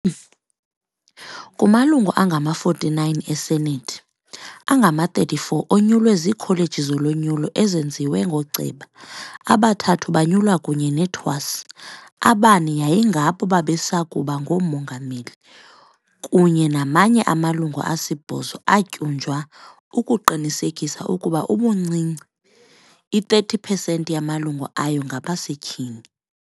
Kumalungu angama-49 eSenethi, angama-34 onyulwe ziikholeji zolonyulo ezenziwe ngooceba, abathathu banyulwa kunye neTwas, abane yayingabo babesakuba ngooMongameli, kunye namanye amalungu asibhozo atyunjwa ukuqinisekisa ukuba ubuncinci i-30 percent yamalungu ayo ngabasetyhini.